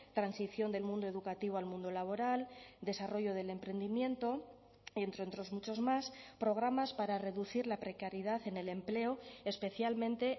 transición del mundo educativo al mundo laboral desarrollo del emprendimiento entre otros muchos más programas para reducir la precariedad en el empleo especialmente